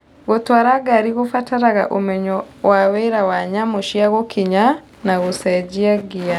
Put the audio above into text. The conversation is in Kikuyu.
Gũtũara ngari gũbataraga ũmenyo wa wĩra wa nyamũ cia gũkinya na gũcenjia ngia.